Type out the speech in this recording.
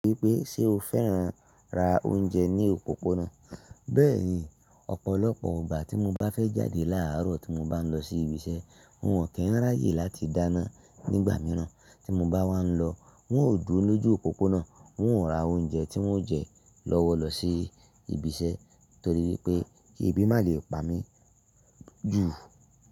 Wípé ṣe o fẹ́ran ra oúnjẹ ní òpópónà? Bẹ́ẹ̀ni, ọ̀pọ̀lọpọ̀ gbà tí mo bá fẹ́ jáde láàárọ̀ tí mo bá ń lọ sí ibi iṣẹ́, wọn ò kí ń ráyè láti dáná nígbà mìíràn. Tí mo bá wá ń lọ, wọn ò dúró lójú òpópónà, wọn ò ra oúnjẹ tí wọ́n jẹ lọ́wọ́ lọ sí ibi iṣẹ́ torí wípé kí ebi má lè pa mí jù.